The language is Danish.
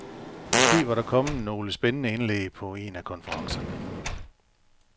Måske var der kommet nogle spændende indlæg på en af konferencerne.